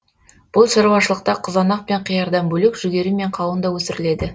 бұл шаруашылықта қызанақ пен қиярдан бөлек жүгері мен қауын да өсіріледі